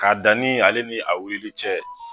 K'a dani ale ni a wulili cɛ